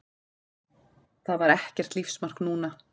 Það var ekkert lífsmark núna.